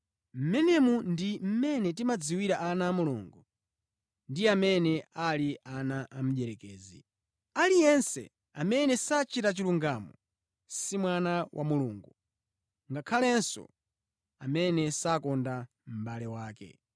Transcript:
Mmenemu ndi mmene timadziwira ana a Mulungu ndi amene ali ana a mdierekezi. Aliyense amene sachita chilungamo si mwana wa Mulungu; ngakhalenso amene sakonda mʼbale wake.